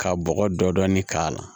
Ka bɔgɔ dɔɔnin k'a la